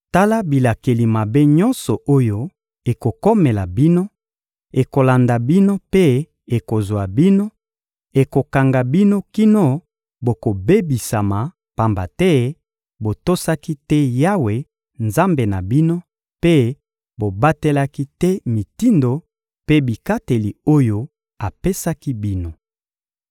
Tala bilakeli mabe nyonso oyo ekokomela bino, ekolanda bino mpe ekozwa bino, ekokanga bino kino bokobebisama; pamba te botosaki te Yawe, Nzambe na bino, mpe bobatelaki te mitindo mpe bikateli oyo apesaki bino.